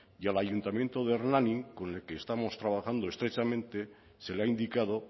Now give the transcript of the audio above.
y al ayuntamiento de hernani con el que estamos trabajando estrechamente se le ha indicado